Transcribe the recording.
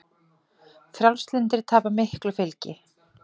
Frjálslyndir tapa miklu fylgi